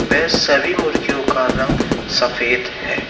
वे सभी मुर्गियों का रंग सफेद है।